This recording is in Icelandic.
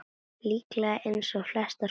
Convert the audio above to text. Líklega eins og flestar konur.